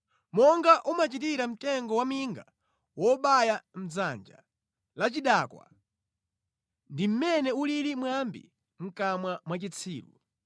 Monga umachitira mtengo waminga wobaya mʼdzanja la chidakwa ndi mmene ulili mwambi mʼkamwa mwa chitsiru.